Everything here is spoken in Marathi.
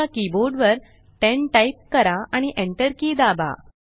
तुमच्या कीबोर्ड वर 10 टाइप करा आणि enter की दाबा